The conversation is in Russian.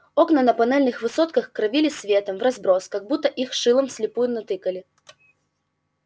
окна на панельных высотках кровили светом вразброс как будто их шилом вслепую натыкали